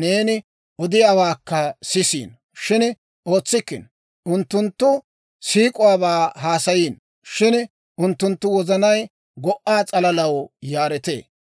neeni odiyaawaakka sisiino; shin ootsikkino. Unttunttu siik'uwaabaa haasayiino; shin unttunttu wozanay go"aa s'alalaw yaaretee.